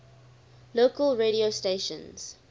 local radio stations